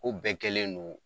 Ko bɛɛ kɛlen don